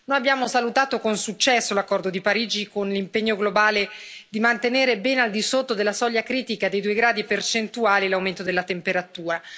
Noi abbiamo salutato con successo l'accordo di Parigi, con l'impegno globale di mantenere ben al di sotto della soglia critica di due gradi percentuali l'aumento della temperatura.